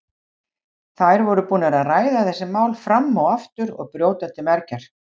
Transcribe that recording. Þær voru búnar að ræða þessi mál fram og aftur og brjóta til mergjar.